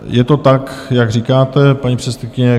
Je to tak, jak říkáte, paní předsedkyně.